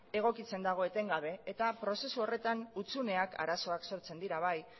egokitzen dago etengabe eta prozesu horretan hutsuneak arazoak sortzen dira bai